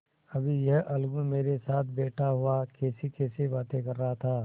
अभी यह अलगू मेरे साथ बैठा हुआ कैसीकैसी बातें कर रहा था